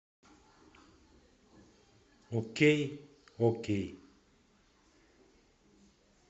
окей окей